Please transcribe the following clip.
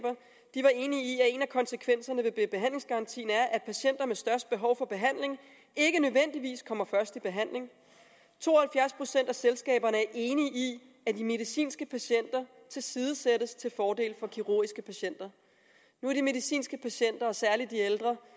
enige i at en af konsekvenserne af behandlingsgarantien er at patienter med størst behov for behandling ikke nødvendigvis kommer først i behandling to og halvfjerds procent af selskaberne er enige i at medicinske patienter tilsidesættes til fordel for kirurgiske patienter nu er de medicinske patienter og særlig de ældre